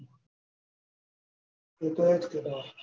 એ તો એજ કે